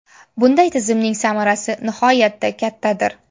Bunday tizimning samarasi nihoyatda kattadir.